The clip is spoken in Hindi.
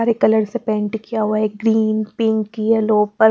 कलर से पेंट किया हुआ है ग्रीन पिंक यलो पर--